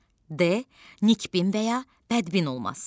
D Nikbin və ya bədbin olması.